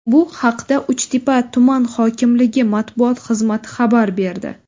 Bu haqda Uchtepa tuman hokimligi matbuot xizmati xabar berdi .